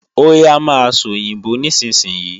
Óyá máa sòyìnbó nísinsìnyí!